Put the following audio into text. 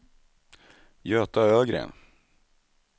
Göta Ögren